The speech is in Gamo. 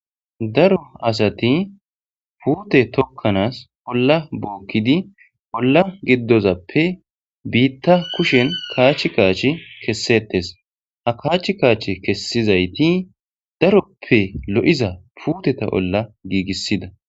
daro asati puute tokkanaas holla bookkidi holla giddozappe biitta kushen kaach kaachi kessettes a kaach kaach kessizayti daroppe lo7iza puuteta bolla giigissida